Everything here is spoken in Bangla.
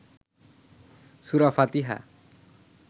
সুরা ফাতিহা